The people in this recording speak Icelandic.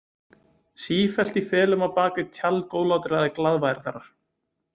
Sífellt í felum á bak við tjald góðlátlegrar glaðværðar.